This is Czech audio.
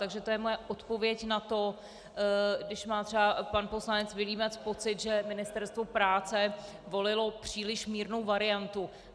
Takže to je moje odpověď na to, když má třeba pan poslanec Vilímec pocit, že Ministerstvo práce volilo příliš mírnou variantu.